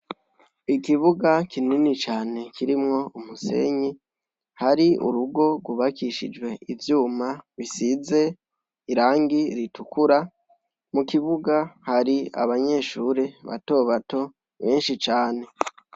Ikibuga kinini cane kirimwo umusenyi, hari urugo rwubakishijwe ivyuma bisize irangi ritukura. Mu kibuga hari abanyeshure batobato benshi cane.